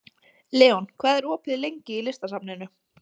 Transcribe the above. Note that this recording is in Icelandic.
Leon, hvað er opið lengi í Listasafninu?